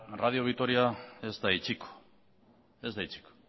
radio vitoria ez da itxiko ez da itxiko